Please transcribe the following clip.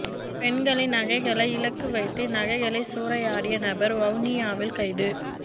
பெண்களின் நகைகளை இலக்கு வைத்து நகைகளை சூறையாடிய நபர் வவுனியாவில் கைது